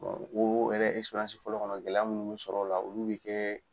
wowo yɛrɛ fɔlɔ kɔnɔ gɛlɛya mun b'u sɔrɔ o la olu bɛ kɛ.